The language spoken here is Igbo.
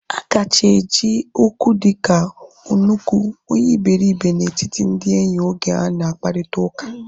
A kacha eji Okwu dịka onuku, onye iberibe na etiti ndị enyi oge ha na akparita ụka